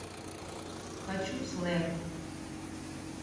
хочу слэм